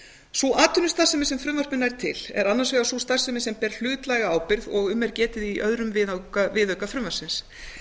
sú atvinnustarfsemi sem frumvarpið nær til er annars vegar sú starfsemi sem ber hlutlæga ábyrgð og sem um er getið í öðrum viðauka frumvarpsins